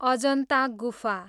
अजन्ता गुफा